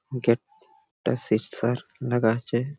Gate টা সিক্সার লাগা আছে।